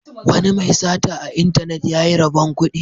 Wani mai sata a intanet ya yi rabon kudi.